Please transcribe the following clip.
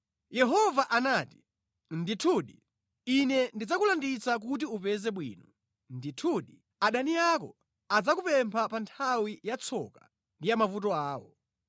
Yehova anati, “Ndithudi, Ine ndidzakulanditsa kuti upeze bwino. Ndithudi, adani ako adzakupempha pa nthawi ya tsoka ndi ya mavuto awo.